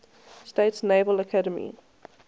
states naval academy